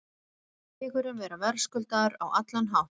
Mér fannst sigurinn vera verðskuldaður á allan hátt.